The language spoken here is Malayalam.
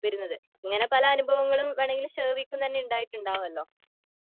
ഇങ്ങനെ പല അനുഭവങ്ങളും വേണെങ്കി ശർവിക്ക് തന്നെ ഉണ്ടായിട്ടുണ്ടാവല്ലോ